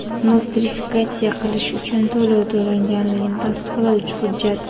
Nostrifikatsiya qilish uchun to‘lov to‘langanligini tasdiqlovchi hujjat;.